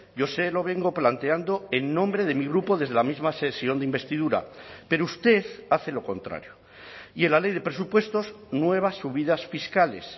yo se lo vengo planteando en nombre de mi grupo desde la misma sesión de investidura pero usted hace lo contrario y en la ley de presupuestos nuevas subidas fiscales